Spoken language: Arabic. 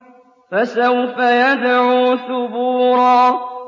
فَسَوْفَ يَدْعُو ثُبُورًا